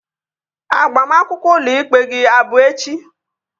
Agbamakwụkwọ ụlọ ikpe gị abụ echi?